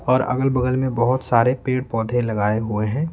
और अगल-बगल में बहुत सारे पेड़-पौधे लगाए हुए हैं।